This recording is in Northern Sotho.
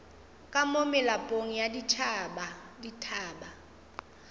ka mo melapong ya dithaba